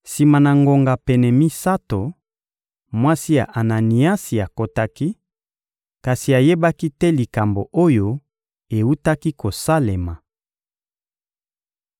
Sima na ngonga pene misato, mwasi ya Ananiasi akotaki, kasi ayebaki te likambo oyo ewutaki kosalema.